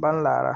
baŋ laare .